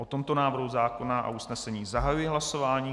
O tomto návrhu zákona a usnesení zahajuji hlasování.